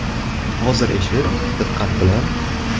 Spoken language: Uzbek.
Hozir eshit, diqqat bilan!